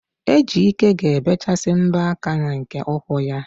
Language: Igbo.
Ejike ga-ebechasị mbọ aka na nke ụkwụ ya